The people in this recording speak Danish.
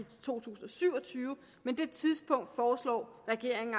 to tusind og syv og tyve men det tidspunkt foreslår regeringen